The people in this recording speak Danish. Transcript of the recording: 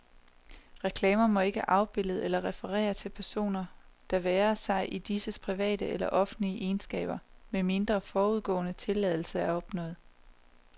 Reklamer må ikke afbilde eller referere til personer, det være sig i disses private eller offentlige egenskaber, medmindre forudgående tilladelse er opnået.